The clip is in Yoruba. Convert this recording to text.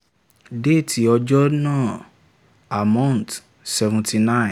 déètì ọjọ́ náà ammount seventy nine